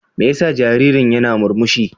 Me yasa jaririn yana murmushi?